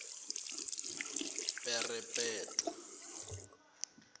perepetwa